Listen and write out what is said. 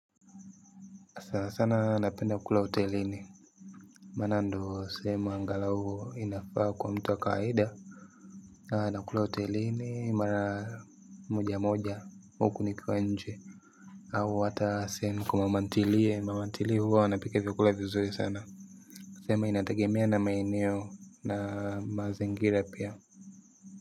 Sana sana napenda kula hotelini. Maana ndio sehemu angalau inafaa kwa mtu wa kawaida. Na nakula hotelini mara moja moja huku nikiwa nje. Au hata sehemu kwa mama ntili ya mama ntili huwa wanapika vyakula vizuri sana. Sema inategemea na maineo na mazingira pia.